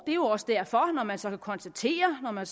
er jo også derfor man så kan konstatere når man